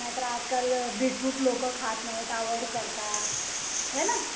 नाहीतर आजकाल बीटरूट लोक खात नाहीत अवोईड करतात होय ना